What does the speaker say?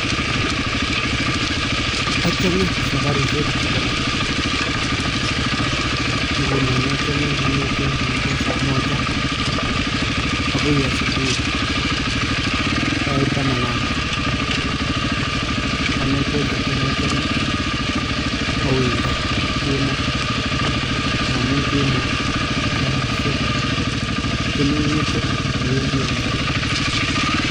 Achame saparishek chebo lang'at. Ngunon achame neng'etei kong'etei saa moja agoi asubuhi sait taman agenge. Ane kwochito nochame awendot eng' kemoo, amu kemoo ko saishek chemeng'ete ngiwendi eng' garit.